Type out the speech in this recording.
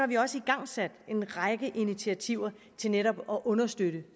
vi også igangsat en række initiativer til netop at understøtte